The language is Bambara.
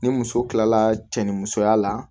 Ni muso kilala cɛ ni musoya la